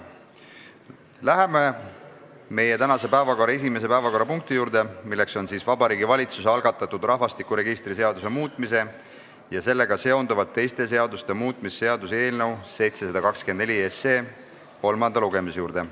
Läheme meie tänase päevakorra esimese päevakorrapunkti, Vabariigi Valitsuse algatatud rahvastikuregistri seaduse muutmise ja sellega seonduvalt teiste seaduste muutmise seaduse eelnõu 724 kolmanda lugemise juurde.